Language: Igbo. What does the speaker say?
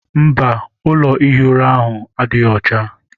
Mba, ụlọ ihi ụra ahụ adịghị ọcha.